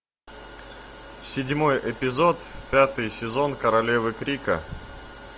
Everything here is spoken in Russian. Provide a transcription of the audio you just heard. седьмой эпизод пятый сезон королевы крика